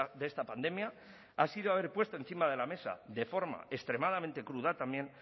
de esta pandemia ha sido haber puesto encima de la mesa de forma extremadamente cruda también